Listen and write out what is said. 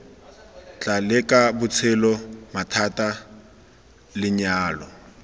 tla leka botshelo mathata lenyalo